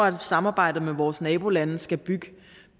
at samarbejdet med vores nabolande skal bygge